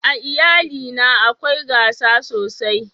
a iyali na akwai gasa sosai